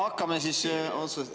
Hakkame siis otsast peale.